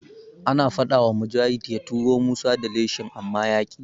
An faɗawa Mujahid ya tura Musa da leshin amma yaƙi.